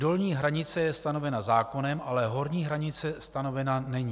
Dolní hranice je stanovena zákonem, ale horní stanice stanovena není.